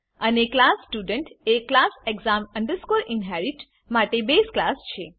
અને class student એ class exam inherit માટે બેઝ ક્લાસ છે